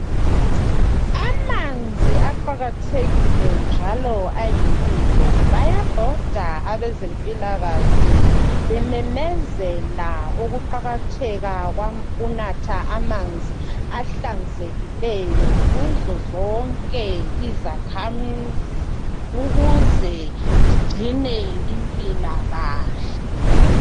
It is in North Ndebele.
Amanzi aqakathekile njalo ayimpilo, bayabhoda abezempilakahle bememezela ukuqalatheka kokunatha amanzi ahlanzekileyo kuzo zonke izakhamizi ukuze zigcine impilakahle.